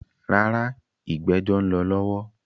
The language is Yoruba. Rárá, “ ìgbẹ́jọ́” ń lọ lọ́wọ́.